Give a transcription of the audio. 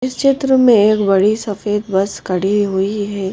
इस चित्र में एक बड़ी सफेद बस खड़ी हुई है।